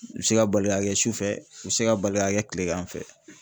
U bɛ se ka bali ka kɛ sufɛ, u bɛ se ka bali ka kɛ kilegan fɛ